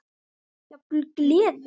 Jafnvel gleði.